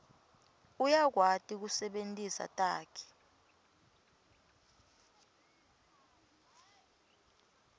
uyakwati kusebentisa takhi